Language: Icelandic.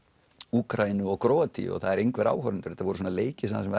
Úkraínu og Króatíu og það eru engir áhorfendur þetta voru svona leikir þar sem